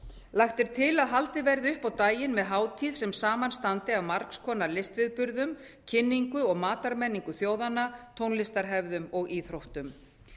lagt er til að haldið verði upp á daginn með hátíð sem samanstandi af margs konar listviðburðum kynningu á matarmenningu þjóðanna tónlistarhefðum og íþróttum